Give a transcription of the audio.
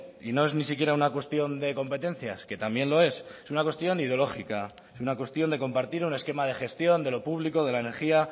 y no es ni siquiera una cuestión de competencias que también lo es es una cuestión ideológica es una cuestión de compartir un esquema de gestión de lo público de la energía